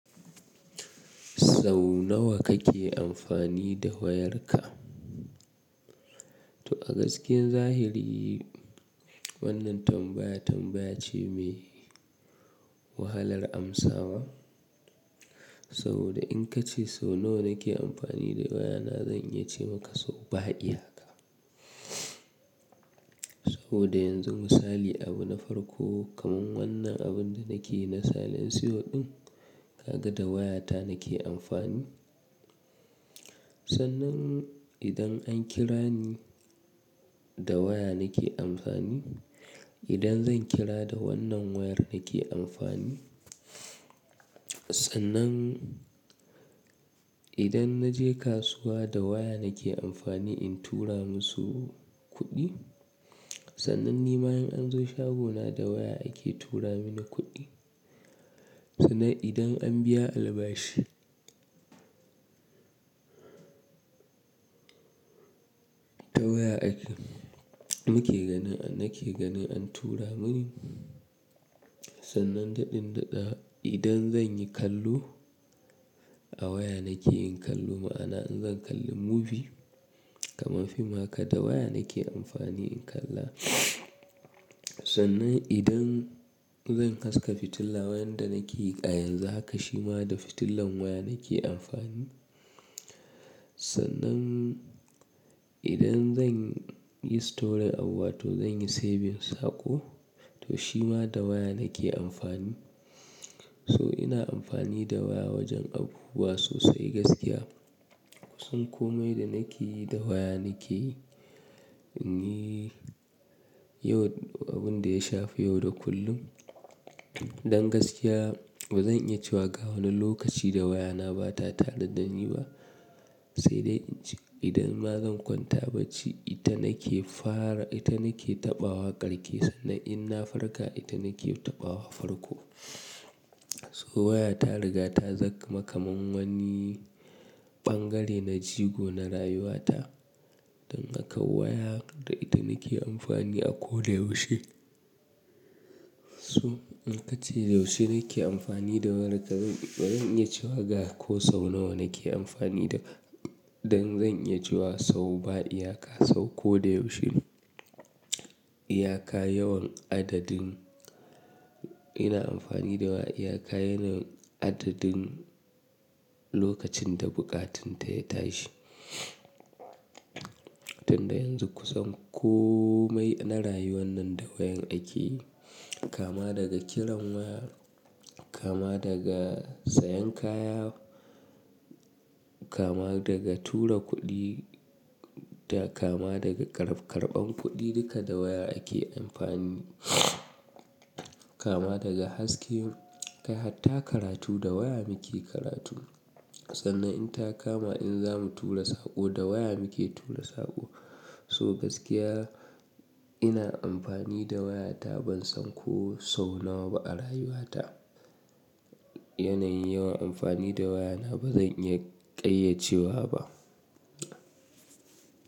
Sau nawa kake amfani da wayarka? To a gaskiyar zahiri wannan tambaya tambaya ce mai wahalar amsawa. Saboda in ka ce sau nawa nake amfani da wayana zan iya ce maka sau ba iyaka. Saboda yanzu misali abu na farko kaman wannan abun da nake na salen siyo ɗin ka ga da wayata nake amfani. Sannan idan an kira ni da waya nake amfani. Idan zan kira da wannan wayar nake amfani. Sannan idan na je kasuwa da waya nake amfani in tura masu kuɗi. Sannan ni ma in an zo shagona da waya ake tura mini kuɗi. Sannan idan an biya albashi ta waya ake nake ganin an tura mini. Sannan da ɗin da ɗada idan zan yi kallo a waya nake in kallo ma'ana in zan kalli movie kaman fim haka da waya nake amfani in kalla. Sannan idan zan haska fitila wayan da nake yi a yanzu haka shima da fitilan waya nake amfani. Sannan idan zan yi storing abu wato zan yi saving saƙo to shima da waya nake amfani. So ina amfani da waya wajen abubuwa sosai gaskiya. Kusan komai da nake yi da waya nake yi inyi yau abun da ya shafi yau da kullum. Dan gaskiya ba zan iya cewa ga wani lokaci da wayana bata tare dan ni ba. Sai dai in ci idan ma zan kwanta bacci ita nake fara ita nake taɓa wa karke sannan in na farka ita nake taɓa wa farko. So waya ta riga ta zama kaman wani ɓangare na jigo na rayuwata. Don haka waya da ita nake amfani a ko da yaushe. So in ka ce yaushe nake amfani da waya bazan iya cewa ga ko sau nawa nake amfani da don zan iya cewa sau ba iyaka sau ko da yaushe. Iyaka yawan adadin ina amfani da waya iyaka yanayin adadin lokacin da bukatinta ya tashi. Tunda yanzu kusan komai na rayuwan nan da wayan ake. Kama daga kiran waya, kama daga sayan kaya, kama daga tura kuɗi da kama daga kar karɓan kuɗi duka da waya ake amfani. Kama daga haske har ta karatu da waya muke karatu. Sannan in ta kama in zamu tura saƙo da waya muke tura saƙo. So gaskiya ina amfani da wayata ban san ko sau nawa ba a rayuwata. Yanayin yawan amfani da wayana bazan iya ƙayyacewa ba.